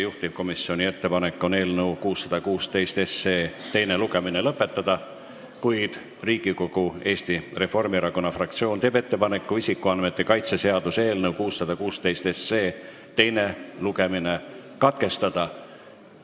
Juhtivkomisjoni ettepanek on eelnõu 616 teine lugemine lõpetada, kuid Riigikogu Eesti Reformierakonna fraktsioon teeb ettepaneku isikuandmete kaitse seaduse eelnõu 616 teine lugemine katkestada.